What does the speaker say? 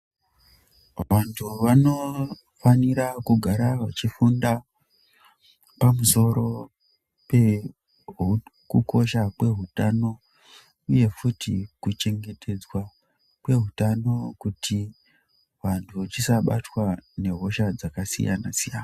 Vantu vanofanira kugara vachifunda pamusoro pekukosha kweutano uye futi kuchengetedzwa kweutano kuti vantu tisabatwa nehosha dzakasiyana siyana .